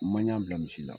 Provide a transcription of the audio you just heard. Maɲa bila misi la